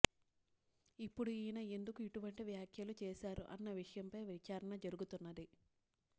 ఇప్పుడు ఈయన ఎందుకు ఇటువంటి వ్యాఖ్యలు చేశారు ఆన్న విషయంపై విచారణ జరుగుతున్నది